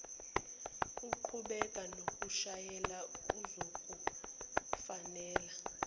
uqhubeke nokushayela kuzokufanela